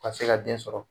Ka se ka den sɔrɔ